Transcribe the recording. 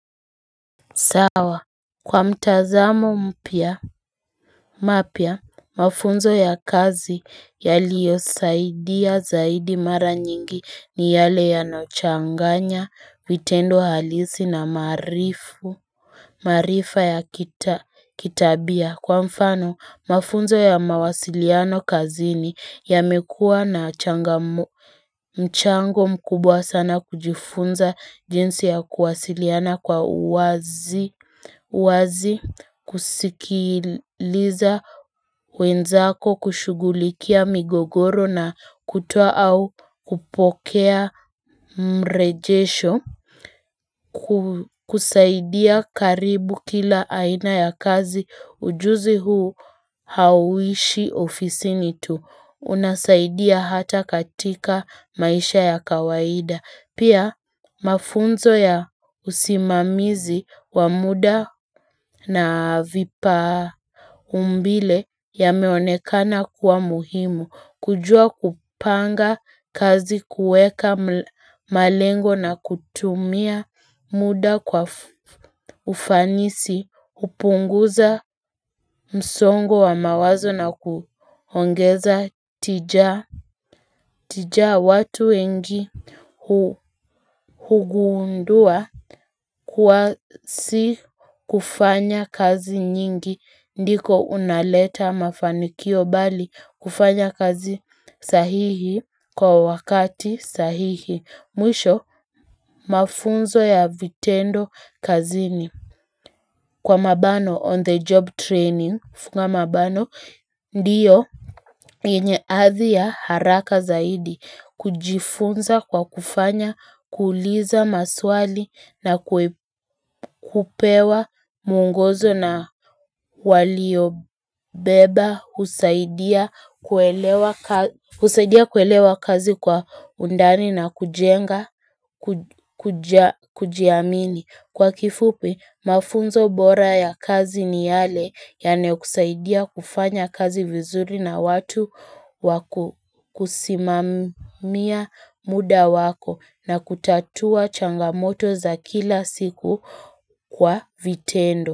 Sawa kwa mtazamo mpya mapya mafunzo ya kazi yaliyo saidia zaidi mara nyingi ni yale yanayochanganya vitendo halisi na maarifu maarifa ya kitabia kwa mfano mafunzo ya mawasiliano kazini yamekuwa na changamoto mchango mkubwa sana kujifunza jinsi ya kuwasiliana kwa uwazi wazi kusikiliza wenzako kushugulikia migogoro na kutoa au kupokea mrejesho kusaidia karibu kila aina ya kazi ujuzi huu hauishi ofisini tu. Unasaidia hata katika maisha ya kawaida Pia mafunzo ya usimamizi wa muda na vipaa umbile yameonekana kuwa muhimu kujua kupanga kazi kuweka malengo na kutumia muda kwa ufanisi hupunguza msongo wa mawazo na kuongeza tija tijaa watu wengi hugundua kuwa si kufanya kazi nyingi ndiko unaleta mafanikio bali kufanya kazi sahihi kwa wakati sahihi. Mwisho, mafunzo ya vitendo kazini. Kwa mabano on the job training, funga mabano, ndiyo yenye athi ya haraka zaidi kujifunza kwa kufanya, kuliza maswali na kupewa mwongozo na waliobeba husaidia husaidia kuelewa kazi kwa undani na kujenga kujiamini Kwa kifupi mafunzo bora ya kazi ni yale Yanayokusaidia kufanya kazi vizuri na watu wa kusimamia muda wako na kutatua changamoto za kila siku kwa vitendo.